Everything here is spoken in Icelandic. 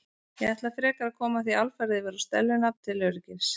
Ég ætla frekar að koma því alfarið yfir á Stellu nafn til öryggis.